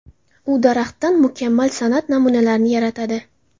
U daraxtdan mukammal san’at namunalari yaratadi.